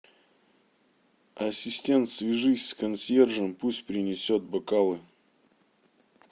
ассистент свяжись с консьержем пусть принесет бокалы